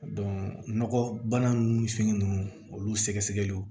nɔgɔ bana nunnu fɛn ninnu olu sɛgɛsɛgɛliw